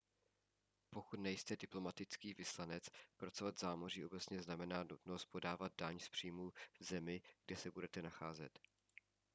pokud nejste diplomatický vyslanec pracovat v zámoří obecně znamená nutnost podávat daň z příjmu v zemi kde se budete nacházet